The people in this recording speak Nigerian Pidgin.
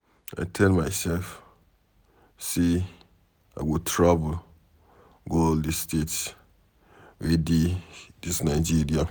I tell myself say I go travel go all the states wey dey dis Nigeria.